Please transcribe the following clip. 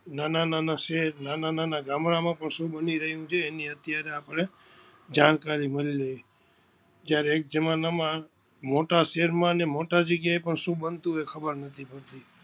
ના ના શહેર ના ના ગામડા માં પણ શું બની રહિયું છે એની અત્યારે આપણે જાણકારી મલી રહી છે જ્યારે એક જમાના માં મોટાં શહેર માં અને મોટા જગ્યા એ પણ શું બનતું એ ખબર નથી.